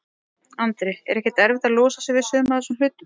Andri: Er ekkert erfitt að losa sig við, við suma af þessum hlutum?